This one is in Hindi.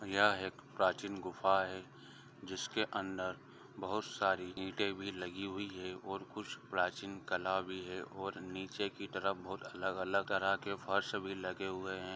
यह एक प्राचीन गुफा है जिसके अंदर बहुत सारी ईंटे भी लगी हुई है और कुछ प्राचीन कला भी है और निचे के तरफ बहुत अलग अलग ]